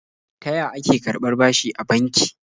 Ta ya ake karɓar bashi a banki?